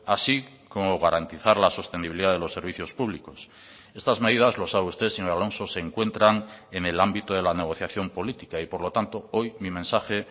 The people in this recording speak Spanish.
así como garantizar la sostenibilidad de los servicios públicos estas medidas lo sabe usted señor alonso se encuentran en el ámbito de la negociación política y por lo tanto hoy mi mensaje